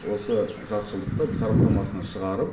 осы жартыжылдықта сараптамасынан шығарып